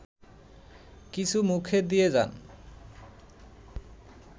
কিছু মুখে দিয়ে যান